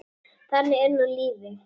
Þannig er nú lífið.